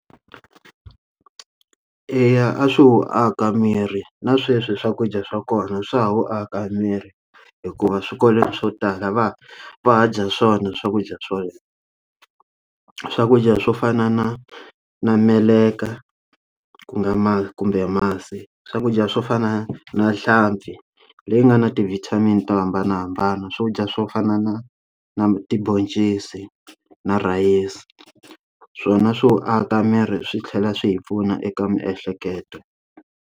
Eya, a swi wu aka miri na sweswi swakudya swa kona swa ha wu aka miri hikuva swikolweni swo tala va va dya swona swakudya swona, swakudya swo fana na na meleka ku nga ma kumbe masi, swakudya swo fana na nhlampfi leyi nga na ti vitamin to hambana na hambana, swo dya swo fana na na tibhoncisi na rhayisi swona swo aka miri swi tlhela swi hi pfuna eka miehleketo.